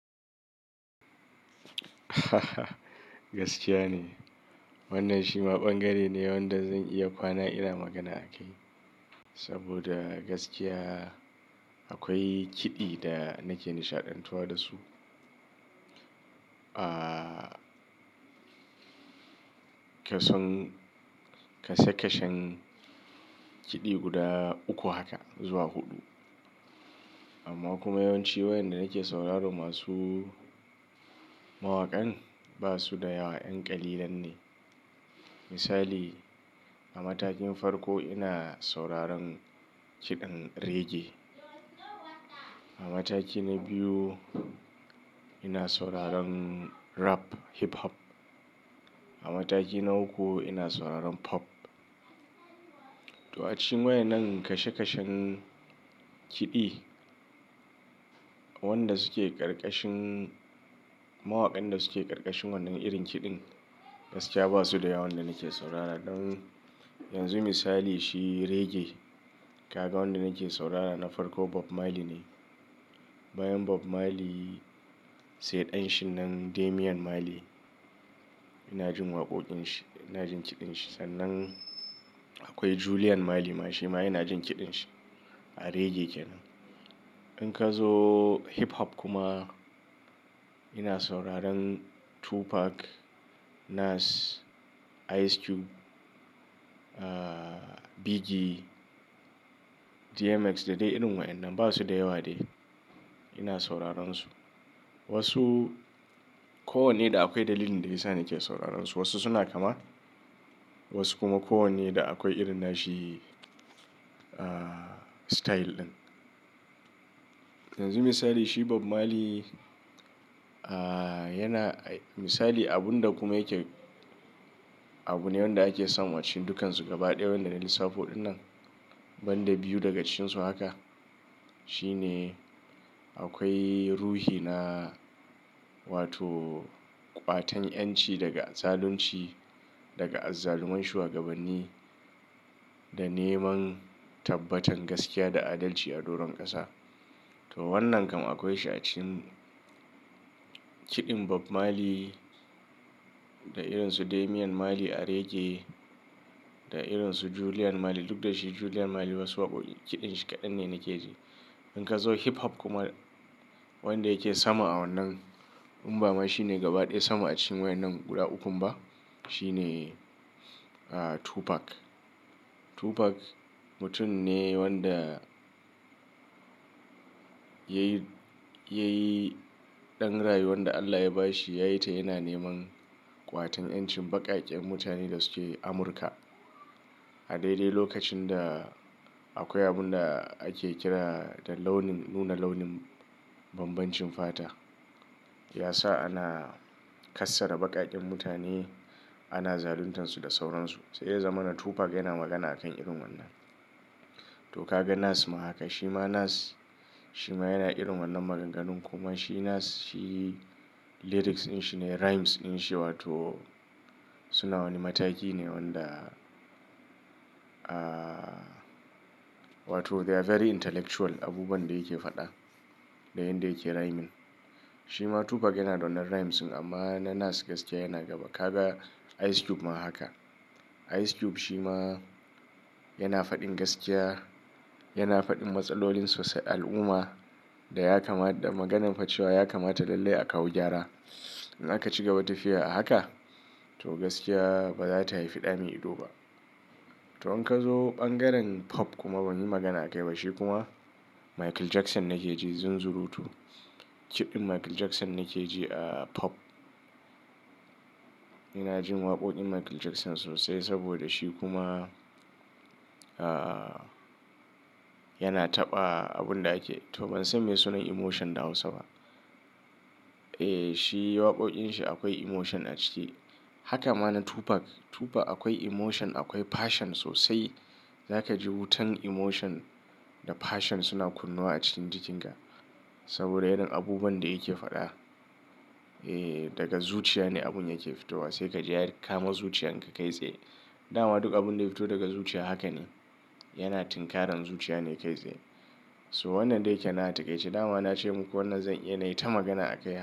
Wannan shi ma bangare ne wanda zan iya kwana ina magana a kai. Saboda gaskiya akwai kiɗi da nake nishaɗantuwa da su. Ahhh kason-- kashe-kashen kiɗi guda uku haka zuwa huɗu. Amma kuma yawanci wayanda nake sauraro masu mawaƙan ba su da yawa 'yan kalilan ne. Misali a matakin farko ina sauraron kiɗan reggae. A mataki na biyu ina sauraron rap hip hop. A mataki na uku ina sauraron pop. To a cikin wayannan kashe-kashen kiɗi, wanda suke ƙarƙashin-- mawaƙan da suke ƙarƙashin wannan irin kiɗin gaskiya ba su da yawa wanda nake saurara. Don yanzu misali shi reggae, ka ga wanda nake saurara na farko Bob Marley ne. Bayan Bob Marley sai ɗan shi nan Damian Marley. Ina jin waƙoƙin shi, ina jin kiɗan shi. Sannan akwai Julian Marley ma shi ma ina jin kiɗan shi a reggae kenan. In ka zo hip hop kuma ina sauraron Tupac, Nas, Ice Cube, ahhh Biggie, DMX da dai irin wayannan ba su da yawa dai. Ina sauraron su. Wasu ko wanne da akwai dalilin da ya sa nake sauraron su. Wasu suna kama, wasu kuma ko wanne da akwai irin nashi ahhh style ɗin. Yanzu misali shi Bob Marley ahhh yana misali abun da kuma yake, abu ne wanda ake samu a cikin dukansu gaba ɗaya wanda na lissafo wannan. Ban da biyu daga cikin su haka. Shi ne akwai ruhi na wato ƙwatan 'yanci daga zalunci, daga azzaluman shugabanni da neman tabbatan gaskiya da adalci a doron ƙasa. To wannan kam akwai shi a cikin kiɗin Bob Marley da irin su Damian Marley a reggae da irin su Julian Marley. Duk da shi Julian Marley wasu waƙoƙin kiɗan shi kaɗan ne nake ji. In ka zo hip hop kuma wanda yake sama a wannan imba ma shi ne gaba ɗaya sama a cikin wayannan guda uku ba. Shi ne Tupac. Tupac mutum ne wanda yayi, yayi ɗan rayuwan da Allah ya ba shi. Yayi ta yana neman ƙwatan ƴancin baƙaƙen mutane da suke Amurka. A daidai lokacin da akwai abun da ake kira da launin nuna launin banbancin fata. Ya sa ana kassara baƙaƙen mutane, ana zaluntansu da sauransu. Sai ya zamana Tupac yana magana a kan irin wannan. To ka ga Nas ma haka. Shi ma Nas shi ma yana irin wannan maganganu kuma shi Nas shi lyrics ɗin shi ne rhymes ɗin shi wato suna wani mataki ne wanda ahhh wato they are very intellectual. Abubuwan da yake faɗa da yin da yake rhyming. Shi ma Tupac yana da wannan rhymes amma na Nas gaskiya yana gaba. Ka ga Ice Cube ma haka. Ice Cube shi ma yana faɗin gaskiya, yana faɗin matsalolin sosai al'umma da ya kama da maganan facewa ya kamata lalle a kawo gyara. In aka cigaba tafiya a haka to gaskiya ba za ta haifi ɗa mai ido ba. To in ka zo ɓangaren pop kuma banyi magana a kai ba. Shi kuma Michael Jackson nake ji zunzuru to. Kiɗan Michael Jackson nake ji a pop. Ina jin waƙoƙin Michael Jackson sosai saboda shi kuma ahhh yana taɓa abun da ake to ban san me sunan emotion da Hausa ba. Eh shi waƙoƙin shi akwai emotion a ciki. Haka ma na Tupac. Tupac akwai emotion, akwai passion sosai. Za ka ji wutan emotion da passion suna kunnowa a cikin jikinka. Saboda irin abubuwan da yake faɗa. Eh daga zuciya ne abun yake fitowa. Sai ka ji ya kama zuciyar ka kaitsaye. Dama duk abun da ya fito daga zuciya haka ne. Yana tinkaran zuciya ne kaitsaye. So wannan dai kenan a taƙaice. Dama na ce muku wannan zan iya na yi ta magana a kai.